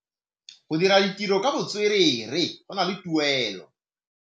Go dira ditirô ka botswerere go na le tuelô.